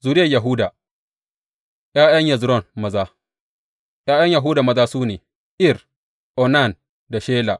Zuriyar Yahuda ’Ya’yan Hezron maza ’Ya’yan Yahuda maza su ne, Er, Onan da Shela.